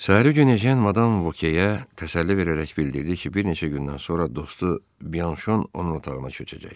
Səhəri gün ejen madam Vokeyə təsəlli verərək bildirdi ki, bir neçə gündən sonra dostu Bianşon onun otağına köçəcək.